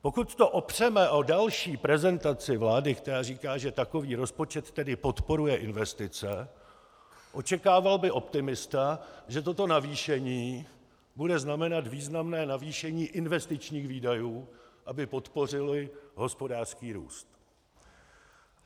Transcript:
Pokud to opřeme o další prezentaci vlády, která říká, že takový rozpočet tedy podporuje investice, očekával by optimista, že toto navýšení bude znamenat významné navýšení investičních výdajů, aby podpořili hospodářský růst.